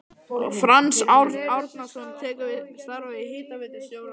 Franz Árnason tekur við starfi hitaveitustjóra á